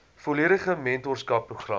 volledige mentorskap program